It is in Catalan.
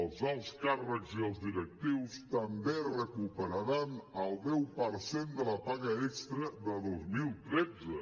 els alts càrrecs i els directius també recuperaran el deu per cent de la paga extra de dos mil tretze